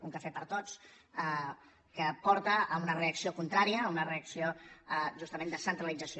un cafè per a tots que porta a una reacció contrària a una reacció justament de centralització